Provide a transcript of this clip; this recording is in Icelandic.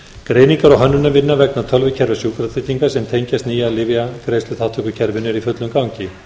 greiningar og hönnunarvinna vegna tölvukerfi sjúkratrygginga sem tengjast nýja lyfjagreiðsluþátttökukerfinu er í fullum gangi